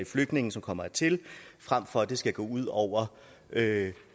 flygtninge som kommer hertil frem for at det skal gå ud over